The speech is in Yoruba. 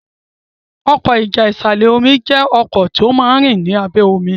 Ọkọ́ ìjà ìsàlẹ̀-omi jé ọkọ́ omí tó món rìn lábé omí.